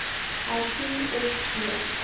hersien of b